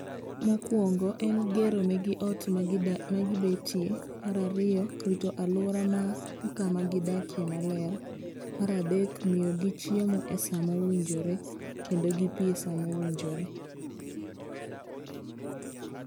Mokuongo en gero negi ot magidak magibetie. Mar ariyo, rito aluora mar kama gidakie maler. Mar adek, miyogi chiemo esa mowinjore, kendo gi pi esa mowinjore.